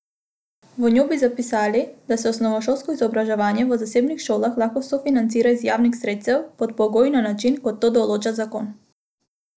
V njo bi zapisali, da se osnovnošolsko izobraževanje v zasebnih šolah lahko sofinancira iz javnih sredstev pod pogoji in na način, kot to določa zakon.